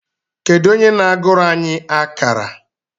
Kedu onye na-agụrụ anyị akárà?